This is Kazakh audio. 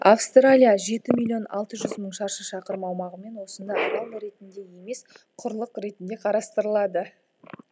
австралия жеті миллион алты жүз мың шаршы шақырым аумағымен осында арал ретінде емес құрлық ретінде қарастырылады